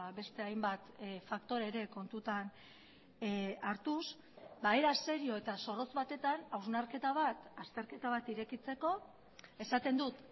beste hainbat faktore ere kontutan hartuz era serio eta zorrotz batetan hausnarketa bat azterketa bat irekitzeko esaten dut